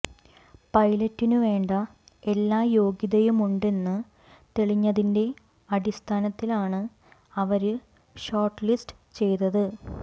പൈലറ്റിനുവേണ്ട എല്ലാ യോഗ്യതയുമുണ്ടെന്ന് തെളിഞ്ഞതിന്റെ അടിസ്ഥാനത്തിലാണ് അവര് ഷോര്ട്ട് ലിസ്റ്റ് ചെയ്തത്